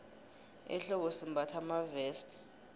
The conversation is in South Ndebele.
ehlobo simbatha amaveste